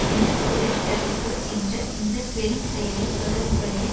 இன துடைத்தழிப்பு என்ற இந்த பெரும் செயலில் தொடர்புடைய